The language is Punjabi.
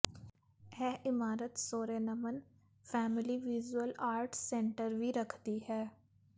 ਇਹ ਇਮਾਰਤ Sorensen family visual arts centre ਵੀ ਰੱਖਦੀ ਹੈ